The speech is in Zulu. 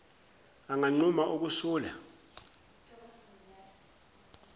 anganquma uku sula